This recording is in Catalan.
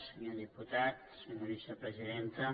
senyor diputat senyora vicepresidenta